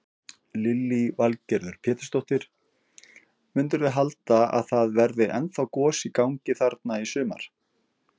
Lillý Valgerður Pétursdóttir: Mundirðu halda að það verði ennþá gos í gangi þarna í sumar?